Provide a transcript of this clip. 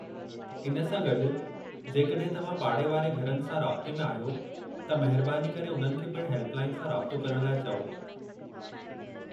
इन सां गॾु, जेकॾहिं तव्हां पाड़े वारे घरनि सां राब्ते में आहियो त महिरबानी करे उन्हनि खे पिणु हेल्प लाइन सां राब्तो करण लाइ चओ।